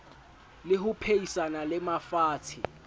le ho phehisana le mafatshe